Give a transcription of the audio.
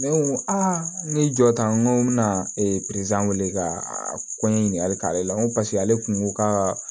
Ne ko a n ɲe jɔta n ko n bɛna weele ka ko ɲɛɲini hali k'ale la n ko paseke ale kun ko ka